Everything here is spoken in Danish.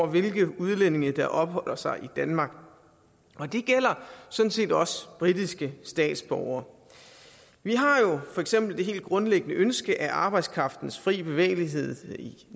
hvilke udlændinge der opholder sig i danmark og det gælder sådan set også britiske statsborgere vi har jo for eksempel det helt grundlæggende ønske at arbejdskraftens fri bevægelighed inden